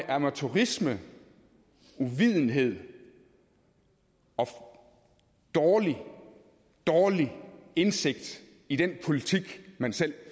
amatørisme uvidenhed og dårlig dårlig indsigt i den politik man selv